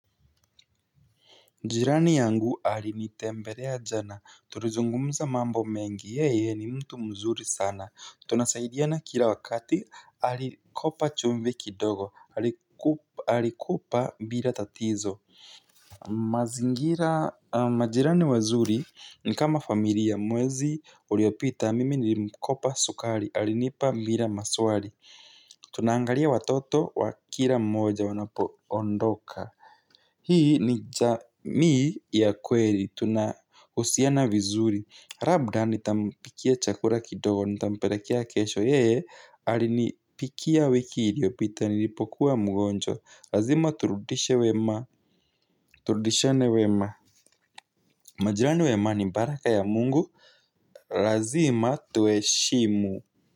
Jirani yangu alinitembelea jana, tulizungumza mambo mengi, yeye ni mtu mzuri sana. Tunasaidiana kila wakati, alikopa chumvi kidogo, alikopa bila tatizo. Majirani wazuri ni kama familia, mwezi uliopita, mimi nilimkopa sukari, alinipa bila maswali. Tunaangalia watoto wa kila mmoja wanapoondoka. Hii ni jamii ya kweli. Tunahusiana vizuri labda nitampikia chakula kidogo. Nitampelekea kesho. Yee, alinipikia wiki iliyopita nilipokuwa mgonjwa. Lazima turudishe wema. Turudishiane wema. Majirani wema ni baraka ya mungu. Lazima tuwaheshimu.